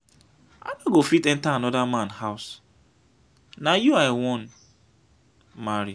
i no go fit enter another man house na you i wan marry.